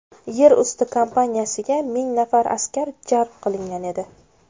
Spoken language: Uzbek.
Yer usti kampaniyasiga ming nafar askar jalb qilingan edi.